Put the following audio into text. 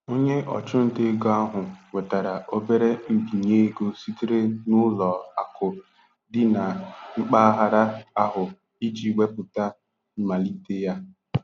Onye ọchụnta ego ahụ nwetara obere mbinye ego sitere n'ụlọ akụ dị na mpaghara ahụ iji wepụta mmalite ya.